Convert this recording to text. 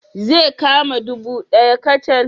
Zai kama ɗubu ɗaya kacal